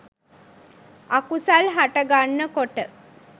අකුසල් හටගන්න කොට